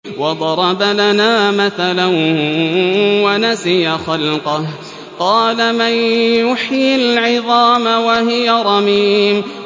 وَضَرَبَ لَنَا مَثَلًا وَنَسِيَ خَلْقَهُ ۖ قَالَ مَن يُحْيِي الْعِظَامَ وَهِيَ رَمِيمٌ